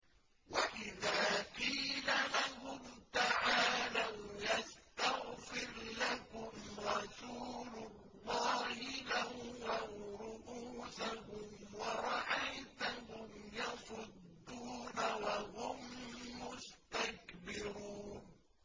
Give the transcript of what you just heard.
وَإِذَا قِيلَ لَهُمْ تَعَالَوْا يَسْتَغْفِرْ لَكُمْ رَسُولُ اللَّهِ لَوَّوْا رُءُوسَهُمْ وَرَأَيْتَهُمْ يَصُدُّونَ وَهُم مُّسْتَكْبِرُونَ